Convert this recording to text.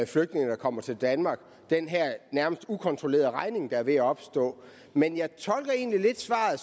flygtninge der kommer til danmark den her nærmest ukontrollerede regning der er ved at opstå men jeg tolker egentlig lidt svaret